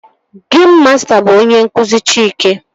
Geim masta bụ onye nkụzi Chike